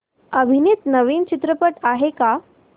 अभिनीत नवीन चित्रपट आहे का